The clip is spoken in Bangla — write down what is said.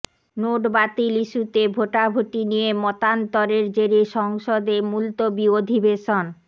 নোট বাতিল ইস্যুতে ভোটাভুটি নিয়ে মতান্তরের জেরে সংসদে মুলতবি অধিবেশন